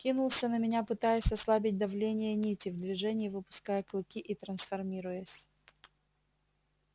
кинулся на меня пытаясь ослабить давление нити в движении выпуская клыки и трансформируясь